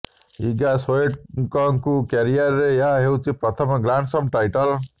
ଇଗା ସ୍ବେଟେକ୍ଙ୍କ କ୍ୟାରିୟରର ଏହା ହେଉଛି ପ୍ରଥମ ଗ୍ରାଣ୍ଡ ସ୍ଲାମ୍ ଟାଇଟଲ୍